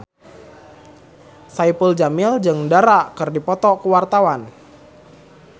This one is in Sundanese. Saipul Jamil jeung Dara keur dipoto ku wartawan